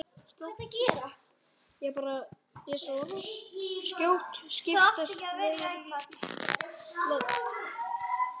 Skjótt skipast veður í loft.